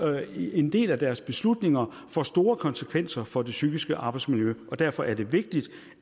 en del af deres beslutninger får store konsekvenser for det psykiske arbejdsmiljø derfor er det vigtigt